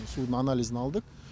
судың анализін алдық